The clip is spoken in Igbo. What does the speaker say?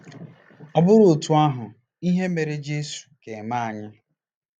Ọ bụrụ otú ahụ, ihe mere Jesu ga-eme anyị.